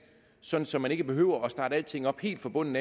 så så man ikke behøver at starte alting op helt fra bunden